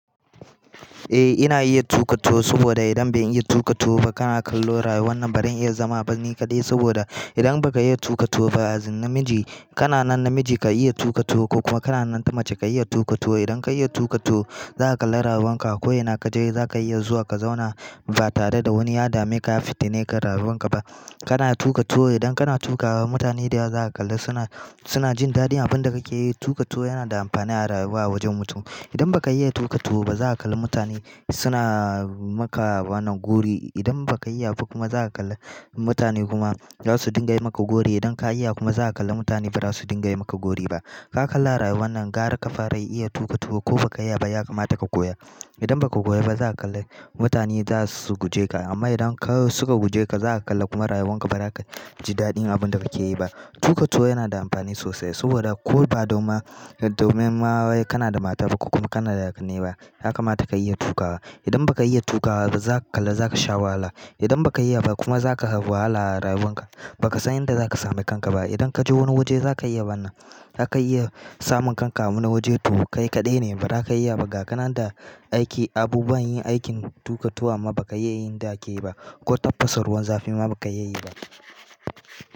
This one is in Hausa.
Eh ina iya tuƙa tuwo saboda idan ban iya tuƙa tuwo ba kana kallo rayuwar nan ba ran iya zama ba ni kaɗai, saboda idan baka iya tuƙa tuwo ba a zin namiji, kana nan namiji ka iya tuƙa tuwo ko kuma kana nan ta mace ka iya tuƙa tuwo, idan ka iya tuƙa tuwo za ka kalla rayuwan ka a ko ina kaje za ka iya zuwa ka zauna ba tare da wani yadame ka ya fitine ka rayuwan ka ba. Kana tuƙa tuwo, idan kana tuƙa wa mutane dayawa za ka kalla suna, suna jin daɗin abun da kake yi, tuƙa tuwo yana da amfani a rayuwa a wajen mutum. Idan baka iya tuƙa tuwo ba za ka kalla mutane suna maka wannan gori, idan baka iya ba kuma za ka kalla mutane kuma zasu dinga yi maka gori, idan ka iya kuma za ka kalla mutane ba za su dinga yi maka gori ba. Ka kalla a rayuwannan gara ka fara iya tuƙa tuwo ko baka iya ba ya kamata ka koya. Idan baka koya ba za ka kalla mutane za su guje ka, amma idan ka suka guje ka za ka kalla kuma rayuwan ka ba za ka ji daɗin abun da kake yi ba. Tuƙa tuwo yana da amfani sosai, saboda ko ba don ma, domin ma wai kana da mata ba ko kuma kana da ƙanne ba, ya kamata ka iya tuƙawa. Idan baka iya tuƙawa ba za ka kalla za ka sha wahala. Idan baka iya ba kuma za ka hau wahala a rayuwan ka, ba ka san inda za ka sami kanka ba. Idan kaje wani waje za ka iya wannan, za ka iya samun kanka a wani waje to kai kaɗai ne ba za ka iya ba, ga kanan da aiki, abubuwan yin aikin tuƙa tuwon amma baka iya yinda ake yi ba, ko tafasa ruwan zafi ma baka iya yi ba.